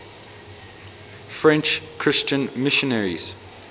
french christian missionaries